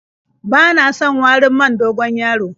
Bana son warin man dogon-yaro.